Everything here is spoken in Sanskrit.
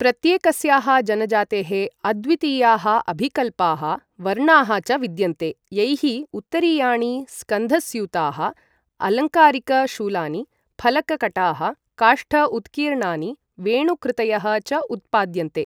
प्रत्येकस्याः जनजातेः अद्वितीयाः अभिकल्पाः, वर्णाः च विद्यन्ते, यैः उत्तरीयाणि, स्कन्ध स्यूताः, अलङ्कारिक शूलानि, फलक कटाः, काष्ठ उत्कीर्णानि, वेणु कृतयः च उत्पाद्यन्ते।